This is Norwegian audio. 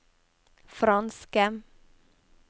franske